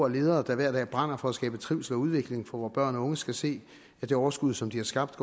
ledere der hver dag brænder for at skabe trivsel og udvikling for vore børn og unge skal se at det overskud som de har skabt